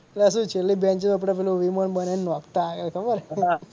અલ્યા શું છેલ્લી બેનચીસે આપડે પેલું વિમાન બનાઈ ને નાખતા એ ખબર.